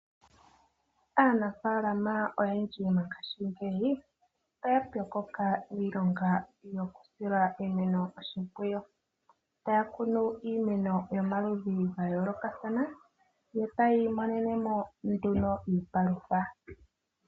Aanafaalama oyendji mongashingeyi oya pyokoka miilonga mokusila iimeno oshimpwiyu. Taya kunu iimeno yomaludhi ga yoolokathana yo taya imonene mo nduno iipalutha.